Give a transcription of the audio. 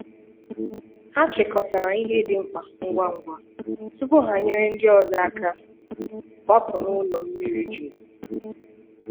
Hà chịkọtarà ihe dị mkpa ngwa ngwa tupu ha nyere ndị ọzọ aka gbapụ̀ n’ụlọ mmiri jurù.